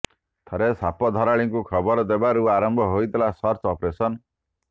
ପରେ ସାପ ଧରାଳିଙ୍କୁ ଖବର ଦେବାରୁ ଆରମ୍ଭ ହୋଇଥିଲା ସର୍ଚ୍ଚ ଅପରେସନ